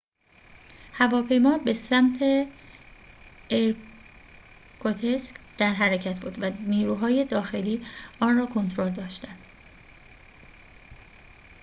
هواپیما به سمت ایرکوتسک در حرکت بود و نیروهای داخلی آن را تحت کنترل داشتند